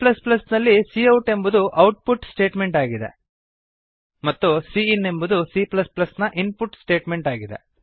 cನಲ್ಲಿ cout ಎಂಬುದು output statement ಆಗಿದೆ ಮತ್ತು ಸಿ ಇನ್ ಎಂಬುದು cನ ಇನ್ಪುಟ್ ಸ್ಟೇಟ್ಮೆಂಟ್ ಆಗಿದೆ